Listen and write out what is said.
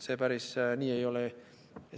See päris nii ei ole.